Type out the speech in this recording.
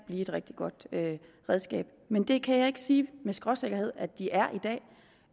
blive et rigtig godt redskab men det kan jeg ikke sige med skråsikkerhed at de er i dag